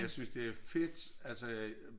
Jeg synes det er fedt altså at